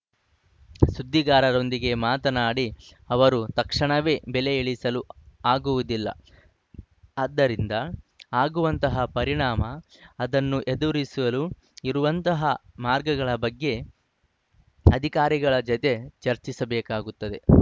ಸುದ್ದಿಗಾರರೊಂದಿಗೆ ಮಾತನಾಡಿ ಅವರು ತಕ್ಷಣವೇ ಬೆಲೆ ಇಳಿಸಲು ಆಗುವುದಿಲ್ಲ ಅದರಿಂದ ಆಗುವಂತಹ ಪರಿಣಾಮ ಅದನ್ನು ಎದುರಿಸಲು ಇರುವಂತಹ ಮಾರ್ಗಗಳ ಬಗ್ಗೆ ಅಧಿಕಾರಿಗಳ ಜತೆ ಚರ್ಚಿಸಬೇಕಾಗುತ್ತದೆ